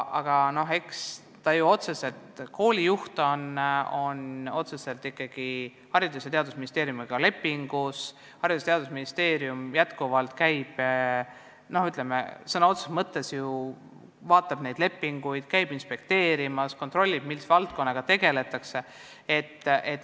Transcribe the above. Aga eks koolijuhil on otseselt Haridus- ja Teadusministeeriumiga leping, Haridus- ja Teadusministeerium jätkuvalt sõna otseses mõttes vaatab neid lepinguid, käib inspekteerimas, kontrollib, mis valdkonnaga tegeldakse.